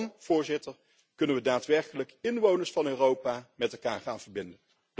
En dan, Voorzitter, kunnen we daadwerkelijk inwoners van Europa met elkaar gaan verbinden.